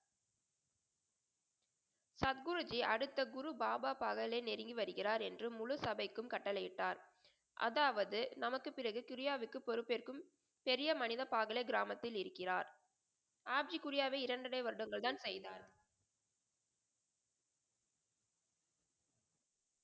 சத் குரு ஜி அடுத்த குரு பாபா பகலை நெருங்கி வருகிறார் என்று முழு சபைக்கும் கட்டளையிட்டார். அதாவது நமக்கு பிறகு கிரியாவிற்கு பொறுப்பு ஏற்கும் செறிய மனித பாகலை கிராமத்தில் இருக்கிறார். ஆட்சி குறியாக இரண்டரை வருடங்கள் தான் செய்தார்.